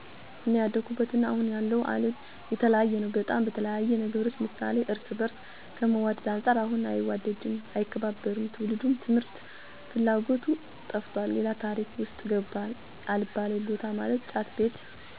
አኔ ያደኩበት እና አሁን ያለው አለም የተለያየ ነው በጣም፣ በተለያየ ነገሮች ምሳሌ እርስ በርስ ከመዋድ አንፃር ያሁኑ አይዋደድም፣ አይከባበርም፣ ትውልዱም ትምህርት ፍላጎቱ ጠፍቶ ሌላ ታሪክ ውስጥ ገብቷል አልባሌ በታ ማለትም ጫት ቤት፣ ሺሻ ቤት፣ መጠጥ ቤት፣ አልጋ ቤት ሁኗል። በኛ ጊዜ እነዚህ ነገሮች አይታወቁም ነበር። ሰለዚህ እኔ ያደኩበት እና አሁን ያለው አለም ፍፁም የተለያየ ነው መለት ነዉ።